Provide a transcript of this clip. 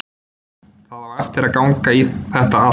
Það á eftir að ganga í þetta allt.